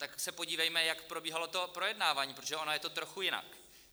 Tak se podívejme, jak probíhalo to projednávání, protože ono je to trochu jinak.